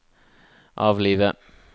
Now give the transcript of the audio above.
avlive